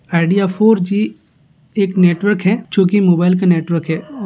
Idea four (four) G एक network है जो को मोबाईल का नेटवर्क है।